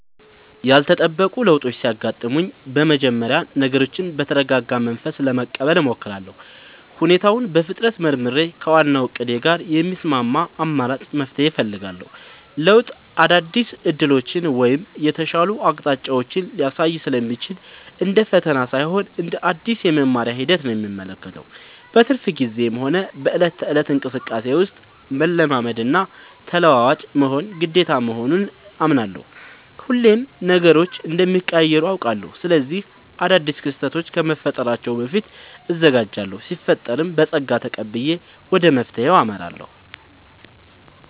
ያልተጠበቁ ለውጦች ሲያጋጥሙኝ በመጀመሪያ ነገሮችን በተረጋጋ መንፈስ ለመቀበል እሞክራለሁ። ሁኔታውን በፍጥነት መርምሬ፣ ከዋናው እቅዴ ጋር የሚስማማ አማራጭ መፍትሄ እፈልጋለሁ። ለውጥ አዳዲስ ዕድሎችን ወይም የተሻሉ አቅጣጫዎችን ሊያሳይ ስለሚችል፣ እንደ ፈተና ሳይሆን እንደ አዲስ የመማሪያ ሂደት ነው የምመለከተው። በትርፍ ጊዜዬም ሆነ በዕለት ተዕለት እንቅስቃሴዬ ውስጥ፣ መላመድና ተለዋዋጭ መሆን ግዴታ መሆኑን አምናለሁ። ሁሌም ነገሮች እንደሚቀያየሩ አውቃለሁ። ስለዚህ አዳዲስ ክስተቶች ከመፈጠራቸው በፊት እዘጋጃለሁ ሲፈጠርም በፀጋ ተቀብዬ ወደ መፍትሄው አመራለሁ።